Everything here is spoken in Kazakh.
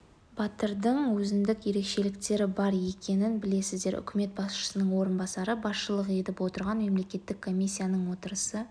батырдың өзіндік ерекшеліктері бар екенін білесіздер үкімет басшысының орынбасары басшылық етіп отырған мемлекеттік комиссияның отырысы